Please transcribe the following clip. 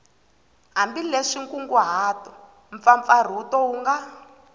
hambileswi nkunguhato mpfapfarhuto wu nga